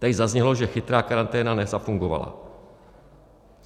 Tady zaznělo, že chytrá karanténa nezafungovala.